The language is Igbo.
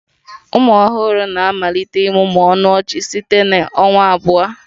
Ụmụ ọhụrụ na-amalite ịmụmụ ọnụ ọchị site na ọnwa abụọ